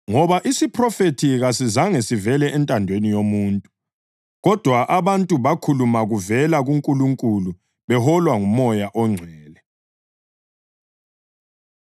Ngoba isiphrofethi kasizange sivele entandweni yomuntu, kodwa abantu bakhuluma kuvela kuNkulunkulu beholwa nguMoya oNgcwele.